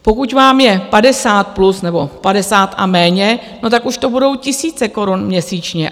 Pokud vám je 50+ nebo 50 a méně, tak už to budou tisíce korun měsíčně.